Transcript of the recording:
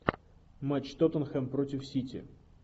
матч тоттенхэм против сити